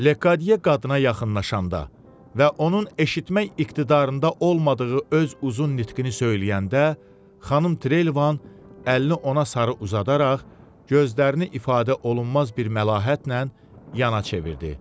Lekadiye qadına yaxınlaşanda və onun eşitmək iqtidarında olmadığı öz uzun nitqini söyləyəndə, xanım Trelevan əlini ona sarı uzadaraq gözlərini ifadə olunmaz bir məlahətlə yana çevirdi.